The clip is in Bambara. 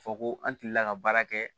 Fɔ ko an tilala ka baara kɛ